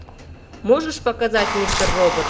можешь показать мистер робот